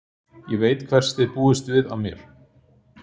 Ég veit hvers þið búist við af mér.